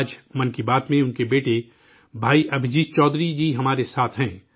آج 'من کی بات' میں، ان کے بیٹے بھائی ابھجیت چودھری جی ہمارے ساتھ ہیں